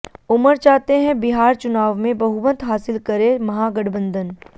उमर चाहते हैं बिहार चुनाव में बहुमत हासिल करे महागठबंधन